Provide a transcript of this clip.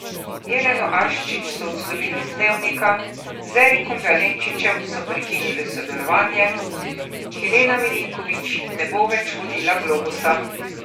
Jeleno Aščić so odslovili z Dnevnika, z Erikom Valenčičem so prekinili sodelovanje, Helena Milinković ne bo več vodila Globusa.